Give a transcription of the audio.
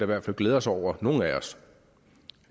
hvert fald glæde os over